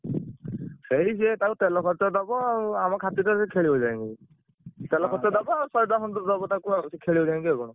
ସେଇ ସେ ତାକୁ ତେଲ ଖର୍ଚ ଦବ ଆଉ ଆମ ସେ ଖେଳିବ ଯାଇକି। ତେଲ ଖର୍ଚ ଦବ ଆଉ ଶହେ ଟଙ୍କା ଖଣ୍ଡେ ଦବ ତାକୁ ଆଉ ସେ ଖେଳିବ ଯାଇକି ଆଉ କଣ।